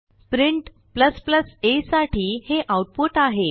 print a साठी हे output आहे